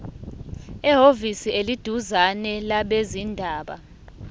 ehhovisi eliseduzane labezindaba